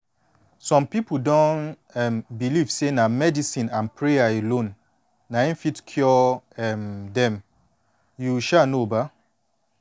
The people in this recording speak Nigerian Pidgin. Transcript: some pipu don um believe say na medicine and prayer alone na em fit cure um dem you um know ba